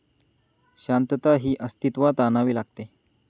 शांतता ही अस्तित्वात आणावी लागते.